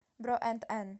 бро энд эн